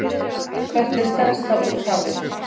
hvert er stærsta úthafið